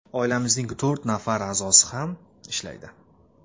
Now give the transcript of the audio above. Oilamizning to‘rt nafar a’zosi ham ishlaydi.